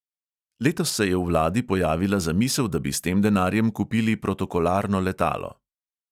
Letos se je v vladi pojavila zamisel, da bi s tem denarjem kupili protokolarno letalo.